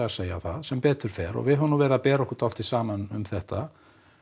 að segja það sem betur fer og við höfum nú verið að bera okkur dálítið saman um þetta